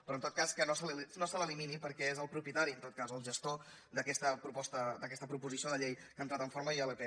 però en tot cas que no se l’elimini perquè és el propietari en tot cas o el gestor d’aquesta proposició de llei que ha entrat en forma d’ilp